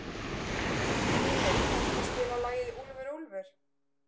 Mímir, kanntu að spila lagið „Úlfur úlfur“?